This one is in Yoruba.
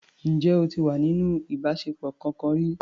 Ǹjẹ́ o ti wà nínú ìbáṣepọ̀ kọkan rí?